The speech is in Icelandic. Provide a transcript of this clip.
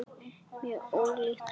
Mjög ólíkt honum.